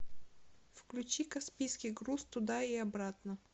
включи каспийский груз туда и обратно